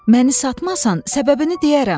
Məni satmasan səbəbini deyərəm.